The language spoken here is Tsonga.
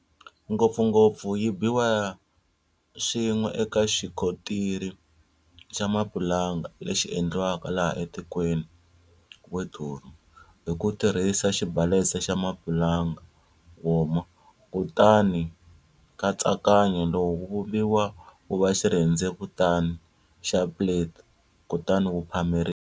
Ngopfungopfu yi biwa swin'we eka xikontiri xa mapulanga lexi endliwaka laha tikweni, woduro, hi ku tirhisa xibalesa xa mapulanga, woma. Kutani nkatsakanyo lowu wu vumbiwa wuva xirhendzevutani xa plate kutani wu phameriwa.